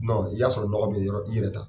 n'i y'a sɔrɔ nɔgɔ bɛ yɔrɔ i yɛrɛ ta.